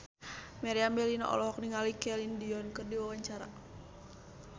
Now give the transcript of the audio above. Meriam Bellina olohok ningali Celine Dion keur diwawancara